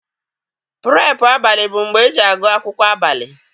Purepu abalị bụ mgbe eji agụ akwụkwọ abalị.